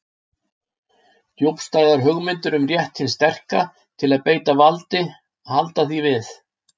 Djúpstæðar hugmyndir um rétt hins sterka til að beita valdi halda því við.